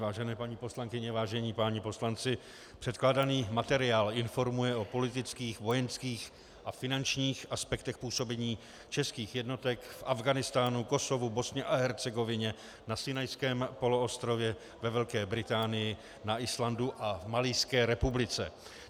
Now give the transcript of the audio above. Vážené paní poslankyně, vážení páni poslanci, předkládaný materiál informuje o politických, vojenských a finančních aspektech působení českých jednotek v Afghánistánu, Kosovu, Bosně a Hercegovině, na Sinajském poloostrově, ve Velké Británii, na Islandu a v Malijské republice.